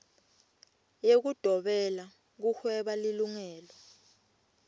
yekudobela kuhweba lilungelo